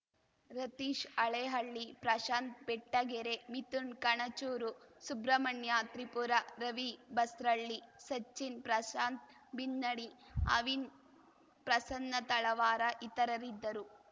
ರತೀಶ್‌ ಹಳೇಹಳ್ಳಿ ಪ್ರಶಾಂತ್‌ ಬೆಟ್ಟಗೆರೆ ಮಿಥುನ್‌ ಕಣಚೂರು ಸುಬ್ರಮಣ್ಯ ತ್ರಿಪುರ ರವಿ ಬಸ್ರಳ್ಳಿ ಸಚಿನ್‌ ಪ್ರಶಾಂತ್‌ ಬಿನ್ನಡಿ ಅವಿನ್‌ ಪ್ರಸನ್ನ ತಳವಾರ ಇತರರಿದ್ದರು